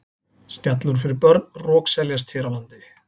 Snjallúr fyrir börn rokseljast hér á landi.